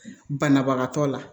Banabagatɔ la